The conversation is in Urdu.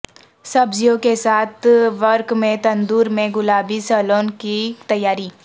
سبزیوں کے ساتھ ورق میں تندور میں گلابی سیلون کی تیاری